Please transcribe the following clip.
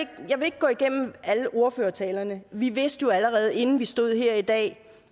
ikke gå igennem alle ordførertalerne vi vidste jo allerede inden vi stod her i dag